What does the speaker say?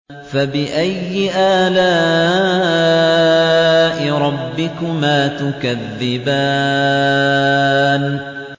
فَبِأَيِّ آلَاءِ رَبِّكُمَا تُكَذِّبَانِ